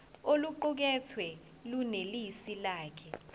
oluqukethwe lunelisi kahle